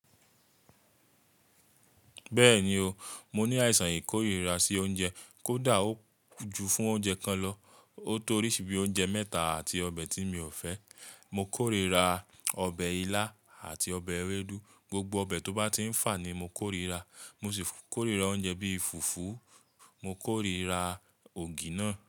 Bẹ́ẹ̀ni o, mo ní àìsàn ìkórìíra sí oúnjẹ kó dà ò ju fún oúnjẹ kan lọ. Ó tó oríṣi bí i oúnjẹ mẹ́ta àti ọbẹ̀ tí mi ò fẹ́. Mo kórìíra ọbẹ̀ ilá àti ọbẹ̀ ewédú, gbogbo ọbẹ̀ tó bá ti ń fà ni mo kórìíra. Mo sì kórìíra oúnjẹ bíi fùfú, mo kórìíra ògì náà.